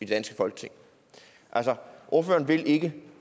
danske folketing altså ordføreren vil ikke